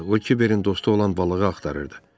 O Kiberin dostu olan balığı axtarırdı.